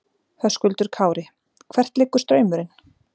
Höskuldur Kári: Hvert liggur straumurinn?